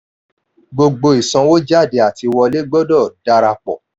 gbogbo ìsanwójáde àti wọlé gbọ́dọ̀ dára pọ̀.